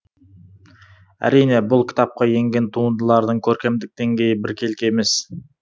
әрине бұл кітапқа енген туындылардың көркемдік деңгейі біркелкі емес